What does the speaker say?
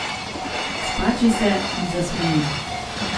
Spači se in zasmeji.